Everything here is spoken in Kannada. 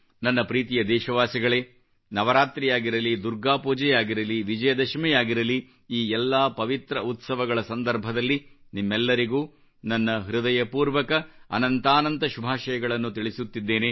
ನನ್ನ ಪ್ರೀತಿಯ ದೇಶವಾಸಿಗಳೇ ನವರಾತ್ರಿಯಾಗಿರಲಿ ದುರ್ಗಾಪೂಜೆಯಾಗಿರಲಿ ವಿಜಯದಶಮಿಯಾಗಿರಲಿ ಈ ಎಲ್ಲಾ ಪವಿತ್ರ ಉತ್ಸವಗಳ ಸಂದರ್ಭದಲ್ಲಿ ನಿಮ್ಮೆಲ್ಲರಿಗೂ ನನ್ನ ಹೃದಯಪೂರ್ವಕ ಅನಂತಾನಂತ ಶುಭಾಶಯಗಳನ್ನು ತಿಳಿಸುತ್ತಿದ್ದೇನೆ